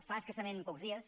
fa escassament pocs dies